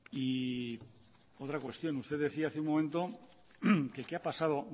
y otra cuestión usted decía hace un momento que qué ha pasado